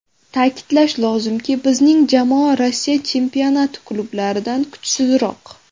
Ta’kidlash lozimki, bizning jamoa Rossiya chempionati klublaridan kuchsizroq.